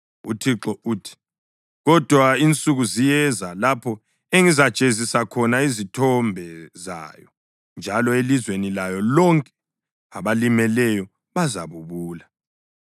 UThixo uthi, “Kodwa insuku ziyeza, lapho engizajezisa khona izithombe zayo, njalo elizweni layo lonke abalimeleyo bazabubula.